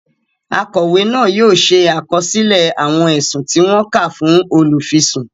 Akọwe náà yóò ṣe àkọsílẹ awọn ẹsùn tí wọn ká fún olufisun